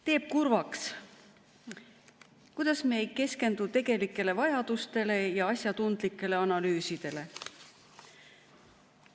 Teeb kurvaks, et me ei keskendu tegelikele vajadustele ja asjatundlikele analüüsidele.